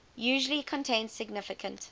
usually contain significant